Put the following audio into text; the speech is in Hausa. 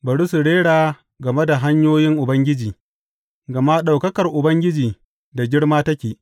Bari su rera game da hanyoyin Ubangiji, gama ɗaukakar Ubangiji da girma take.